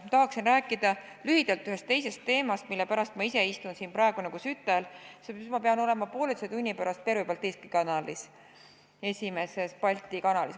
Ma tahaksin rääkida lühidalt ühest teisest teemast, mille pärast ma ise istun siin praegu nagu sütel, sest ma pean olema poolteise tunni pärast Pervõi Baltiiski Kanalis, esimeses Balti kanalis.